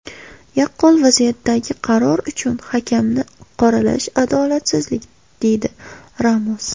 Yaqqol vaziyatdagi qaror uchun hakamni qoralash adolatsizlik”, deydi Ramos.